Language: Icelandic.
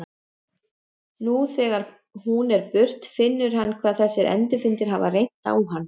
Nú þegar hún er á burt finnur hann hvað þessir endurfundir hafa reynt á hann.